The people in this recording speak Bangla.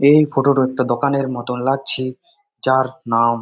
এই ফটো টা একটা দোকানের মতো লাগছে। যার নাম --